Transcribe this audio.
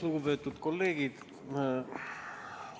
Lugupeetud kolleegid!